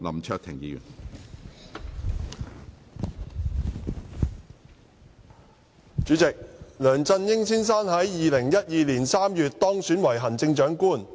主席，梁振英先生於2012年3月當選為行政長官。